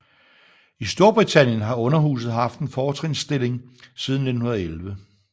I Storbritannien har underhuset haft en fortrinsstilling siden 1911